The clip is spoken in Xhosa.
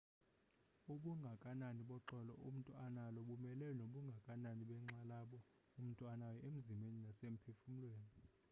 ubungakanani boxolo umntu analo bumelana nobungakanani benxalabo umntu anayo emzimbeni nasemphefumlweni